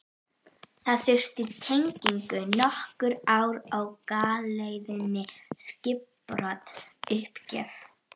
Það þurfti tengingu, nokkur ár á galeiðunni, skipbrot, uppgjöf.